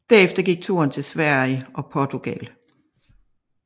Derefter gik turen til Sverige og Portugal